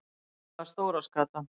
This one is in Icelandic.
Aðallega stóra skatan.